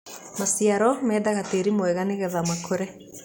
Maciaro mendaga tĩri mwega nĩgetha makũre